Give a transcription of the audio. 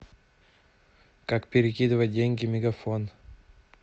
как перекидывать деньги мегафон